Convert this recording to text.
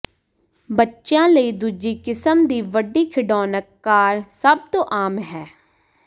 ਬੱਚਿਆਂ ਲਈ ਦੂਜੀ ਕਿਸਮ ਦੀ ਵੱਡੀ ਖਿਡੌਣਕ ਕਾਰ ਸਭ ਤੋਂ ਆਮ ਹੈ